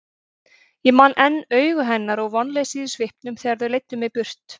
Ég man enn augu hennar og vonleysið í svipnum þegar þeir leiddu mig burt.